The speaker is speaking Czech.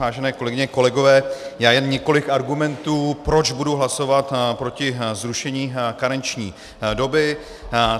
Vážené kolegyně, kolegové, já jen několik argumentů, proč budu hlasovat proti zrušení karenční doby.